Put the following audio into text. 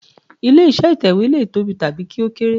Ilé iṣẹ́ ìtẹ̀wẹ́ lè tóbi tàbí kí ó kéré.